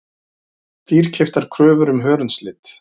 Dýrkeyptar kröfur um hörundslit